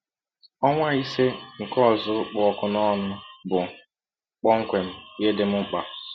Ọnwa ise nke ọzụzụ kpụ ọkụ n’ọnụ bụ kpọmkwem ihe dị m mkpa.